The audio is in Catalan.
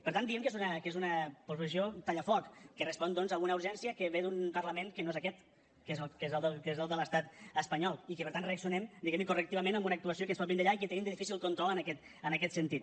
per tant diem que és una proposició tallafoc que respon doncs a una urgència que ve d’un parlament que no és aquest que és el de l’estat espanyol i que per tant reaccionem diguem ne correctivament a una actuació que ens pot vindre d’allà i que tenim de difícil control en aquest sentit